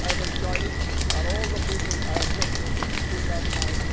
I've enjoyed it and all the people I have worked with through that time.